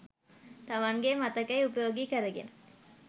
තමන්ගේ මතකය උපයෝගී කරගෙන.